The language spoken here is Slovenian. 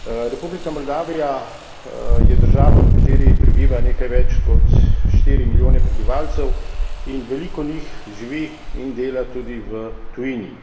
Republika Moldavija je država, v kateri prebiva nekaj več kot štiri milijone prebivalcev in veliko njih živi in dela tudi v tujini.